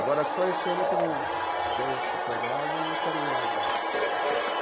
Agora, só esse ano teve um, deu essa coisa lá, eu não quero ir mais, não.